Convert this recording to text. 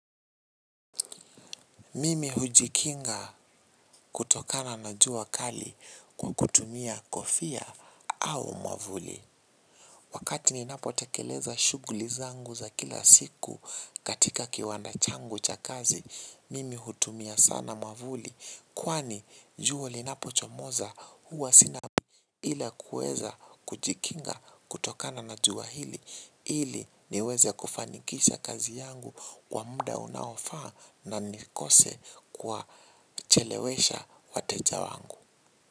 Mimi hujikinga kutokana na jua kali kwa kutumia kofia au mwavuli. Wakati ninapotekeleza shughuli zangu za kila siku katika kiwanda changu cha kazi, mimi hutumia sana mwavuli kwani jua linapochomoza huwa sina. Ila kuweza kujikinga kutokana na jua ili niweze kufanikisha kazi yangu kwa muda unaofaa na nikose kuwachelewesha wateja wangu.